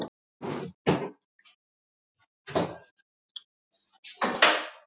Held áfram að strjúka hönd